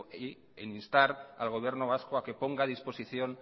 e instar al gobierno vasco a que ponga a disposición